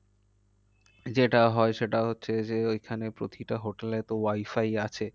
যেটা হয় সেটা হচ্ছে যে ওইখানে প্রতিটা hotel এ তো wifi আছে।